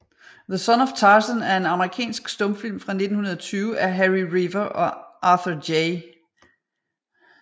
The Son of Tarzan er en amerikansk stumfilm fra 1920 af Harry Revier og Arthur J